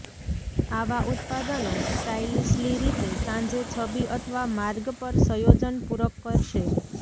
આવા ઉત્પાદનો સ્ટાઇલીશલી રીતે સાંજે છબી અથવા માર્ગ પર સંયોજન પૂરક કરશે